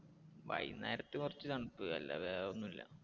വൈകുന്നേരത്ത് കുറച്ചു തണുപ്പ് അല്ലാതെ വേറെ ഒന്നും ഇല്ല.